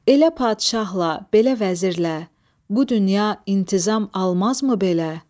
Elə padşahla, belə vəzirlə, bu dünya intizam almazmı belə?